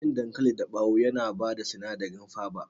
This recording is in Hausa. Cikin dankali dabawo yana bada sinadari faba